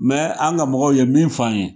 an ŋa mɔgɔw ye min f'an ye